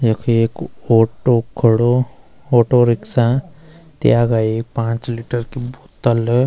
यख एक ऑटो खडो ऑटो रिख्सा त्यागा एक पांच लीटर की बोत्तल ।